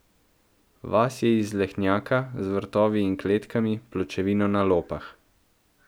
Vas je iz lehnjaka, z vrtovi in kletkami, pločevino na lopah.